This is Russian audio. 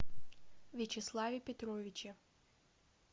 вячеславе петровиче